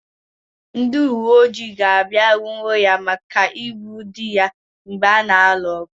Ndị uweojii ga-abịa nwụrụ ya maka igbu dị ya mgbe ha na-alụ ọgụ.